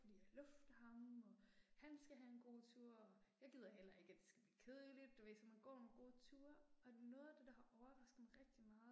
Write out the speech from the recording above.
Fordi jeg lufter ham og han skal have en god tur, jeg gider heller ikke at det skal blive kedeligt, du ved så man går nogle gode ture, og noget af det der har overrasket mig rigtig meget